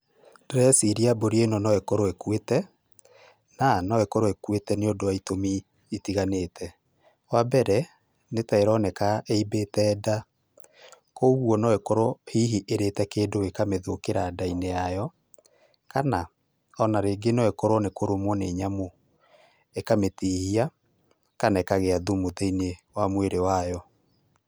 Ndĩreciria mbũri ĩno no ĩkorwo ĩkuĩte, na no ĩkorwo ĩkuĩte nĩ ũndũ wa itũmi itiganĩte. Wa mbeere, nĩ ta ĩroneka ĩibĩte nda, kogwo no ĩkorwo hihi ĩrĩte kĩndũ gĩkamĩthũkĩra ndainĩ ya yayo kana o na rĩngĩ no ĩkorwo nĩ kũrũmwo nĩ nyamũ, ĩkamĩtihia kana ĩkagĩa thumu thĩinĩ wa mwĩrĩ wayo.